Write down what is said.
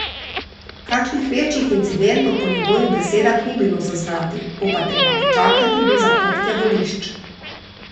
Kakšnih večjih incidentov po njegovih besedah ni bilo zaznati, bo pa treba počakati do zaprtja volišč.